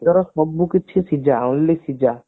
ଭିତର ସବୁ କିଛି ସିଝା only ସିଝା